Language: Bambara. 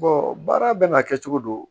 baara bɛ n'a kɛ cogo don